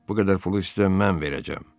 Bu qədər pulu isə mən verəcəm.